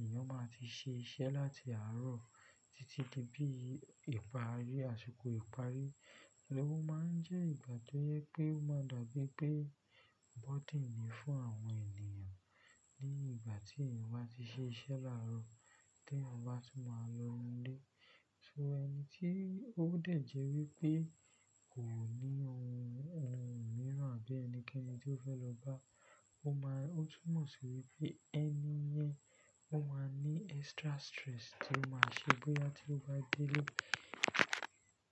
èèyàn má ń ti ṣe iṣẹ́ láti àárọ̀ títí di bí ìparí àsìkò ìparí. Ó má ń jẹ́ ìgbà tó yẹ pé ó má ń dàgbẹ́ pé burden ni fún àwọn ènìyàn ní ìgbà tí èèyàn bá ti ṣe iṣẹ́ láàárọ̀, kí àwọn bá tún má a lọ ilé. Ṣúgbọ́n ẹni tí ó dé̀jẹ́ wípé kò ní ohun mìíràn àbí ẹnikẹ́ni tí ó fẹ́ lọ bá, ó má a, ó túnmọ̀ sí wípé ẹni yẹn ó má ń ní extra stress tí ó má ń ṣe bóyá tí ó bá dé ilé.